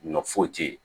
Ɲɔ foyi tɛ yen